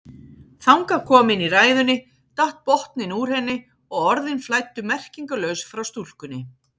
Þangað komin í ræðunni datt botninn úr henni og orðin flæddu merkingarlaus frá stúlkunni.